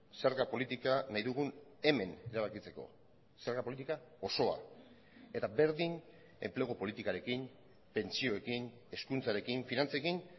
zerga politika nahi dugun hemen erabakitzeko zerga politika osoa eta berdin enplegu politikarekin pentsioekin hezkuntzarekin finantzekin